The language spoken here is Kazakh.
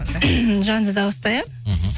жанды дауысты иә мхм